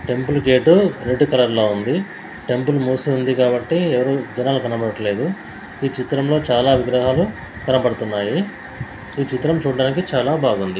Temple gate red colour లో ఉంది. Temple మూసి ఉంది కాబట్టి ఎవరు జనాలు కనపడట్లేదు. ఈ చిత్రంలో చాలా విగ్రహాలు కనపడుతున్నాయి. ఈ చిత్రం చూడటానికి చాలా బాగుంది.